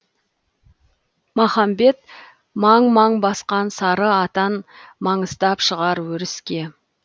махамбет маң маң басқан сары атан маңыстап шығар өріске